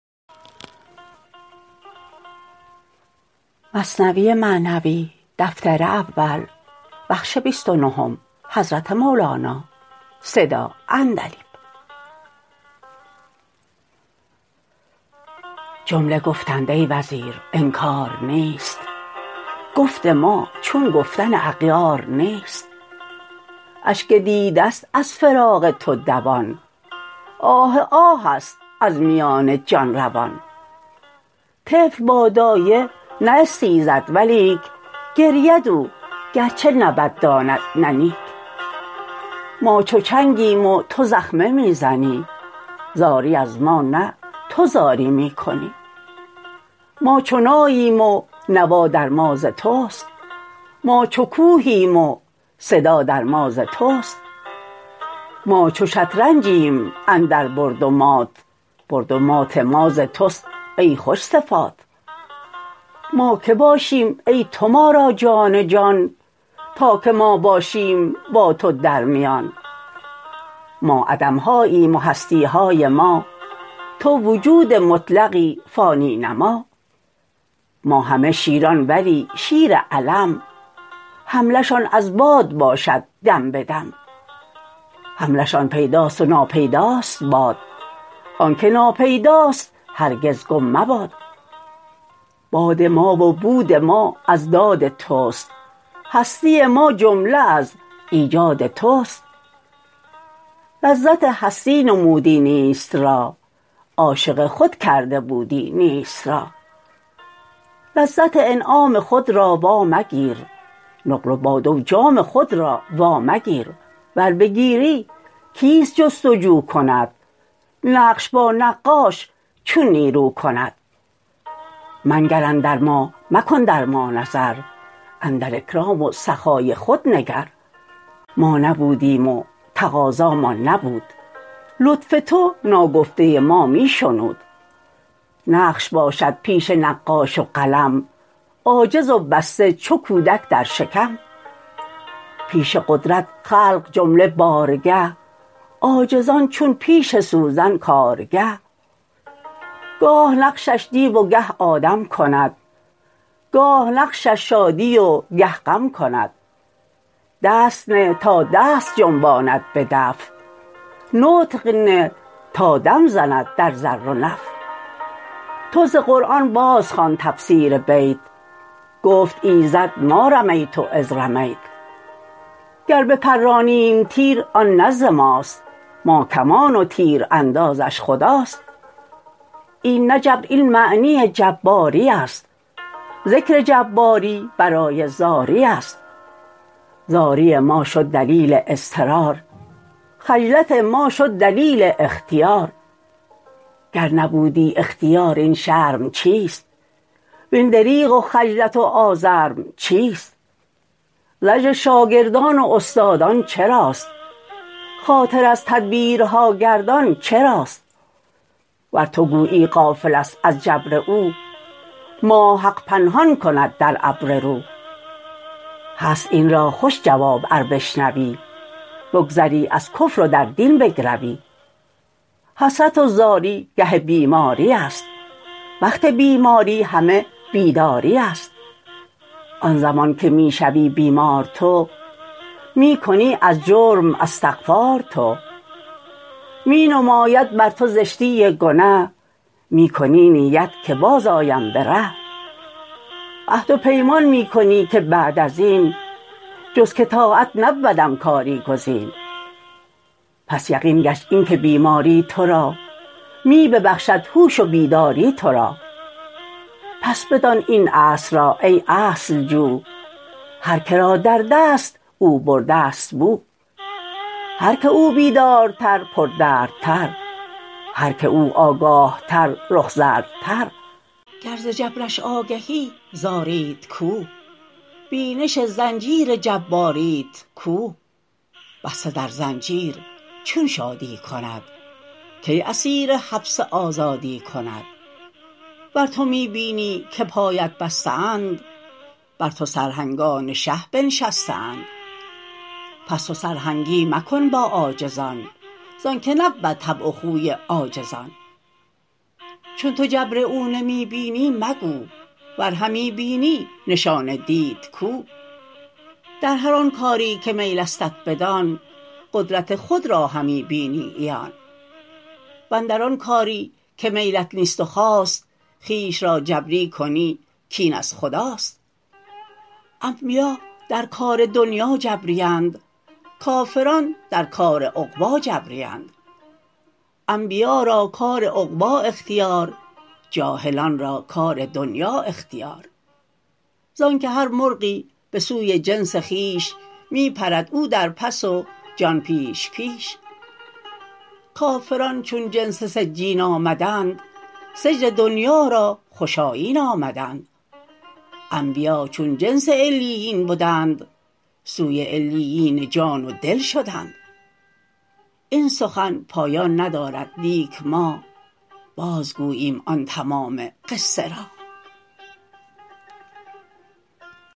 جمله گفتند ای وزیر انکار نیست گفت ما چون گفتن اغیار نیست اشک دیده ست از فراق تو دوان آه آه ست از میان جان روان طفل با دایه نه استیزد ولیک گرید او گرچه نه بد داند نه نیک ما چو چنگیم و تو زخمه می زنی زاری از ما نه تو زاری می کنی ما چو ناییم و نوا در ما ز توست ما چو کوهیم و صدا در ما ز توست ما چو شطرنجیم اندر برد و مات برد و مات ما ز توست ای خوش صفات ما که باشیم ای تو ما را جان جان تا که ما باشیم با تو درمیان ما عدم هاییم و هستی های ما تو وجود مطلقی فانی نما ما همه شیران ولی شیر علم حمله شان از باد باشد دم به دم حمله شان پیدا و ناپیداست باد آنک ناپیداست هرگز گم مباد باد ما و بود ما از داد توست هستی ما جمله از ایجاد توست لذت هستی نمودی نیست را عاشق خود کرده بودی نیست را لذت انعام خود را وا مگیر نقل و باده و جام خود را وا مگیر ور بگیری کیت جست و جو کند نقش با نقاش چون نیرو کند منگر اندر ما مکن در ما نظر اندر اکرام و سخای خود نگر ما نبودیم و تقاضامان نبود لطف تو ناگفته ما می شنود نقش باشد پیش نقاش و قلم عاجز و بسته چو کودک در شکم پیش قدرت خلق جمله بارگه عاجزان چون پیش سوزن کارگه گاه نقشش دیو و گه آدم کند گاه نقشش شادی و گه غم کند دست نه تا دست جنباند به دفع نطق نه تا دم زند در ضر و نفع تو ز قرآن بازخوان تفسیر بیت گفت ایزد ما رميۡت إذۡ رميۡت گر بپرانیم تیر آن نه ز ماست ما کمان و تیراندازش خداست این نه جبر این معنی جباری است ذکر جباری برای زاری است زاری ما شد دلیل اضطرار خجلت ما شد دلیل اختیار گر نبودی اختیار این شرم چیست وین دریغ و خجلت و آزرم چیست زجر شاگردان و استادان چراست خاطر از تدبیرها گردان چراست ور تو گویی غافل است از جبر او ماه حق پنهان کند در ابر رو هست این را خوش جواب ار بشنوی بگذری از کفر و در دین بگروی حسرت و زاری گه بیماری است وقت بیماری همه بیداری است آن زمان که می شوی بیمار تو می کنی از جرم استغفار تو می نماید بر تو زشتی گنه می کنی نیت که باز آیم به ره عهد و پیمان می کنی که بعد ازین جز که طاعت نبودم کاری گزین پس یقین گشت این که بیماری تو را می ببخشد هوش و بیداری تو را پس بدان این اصل را ای اصل جو هر که را دردست او برده ست بو هر که او بیدارتر پردردتر هر که او آگاه تر رخ زردتر گر ز جبرش آگهی زاریت کو بینش زنجیر جباریت کو بسته در زنجیر چون شادی کند کی اسیر حبس آزادی کند ور تو می بینی که پایت بسته اند بر تو سرهنگان شه بنشسته اند پس تو سرهنگی مکن با عاجزان زانک نبود طبع و خوی عاجز آن چون تو جبر او نمی بینی مگو ور همی بینی نشان دید کو در هر آن کاری که میلستت بدان قدرت خود را همی بینی عیان واندر آن کاری که میلت نیست و خواست خویش را جبری کنی کین از خداست انبیا در کار دنیا جبری اند کافران در کار عقبی جبری اند انبیا را کار عقبی اختیار جاهلان را کار دنیا اختیار زانک هر مرغی به سوی جنس خویش می پرد او در پس و جان پیش پیش کافران چون جنس سجین آمدند سجن دنیا را خوش آیین آمدند انبیا چون جنس علیین بدند سوی علیین جان و دل شدند این سخن پایان ندارد لیک ما باز گوییم آن تمام قصه را